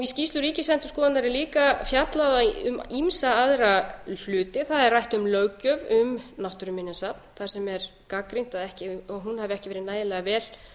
í skýrslu ríkisendurskoðunar er líka fjallað um ýmsa aðra hluti það er rætt um löggjöf um náttúruminjasafn þar sem er gagnrýnt að hún hafi ekki verið nægilega vel